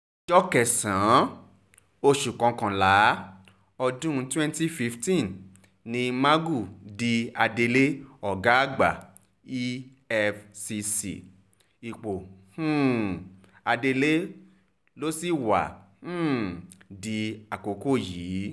ọjọ́ kẹsàn-án oṣù kọkànlá ọdún twenty fifteen ni magu di adelé ọ̀gá-àgbà efcc ipò um adelé ló sì wá um di àkókò yìí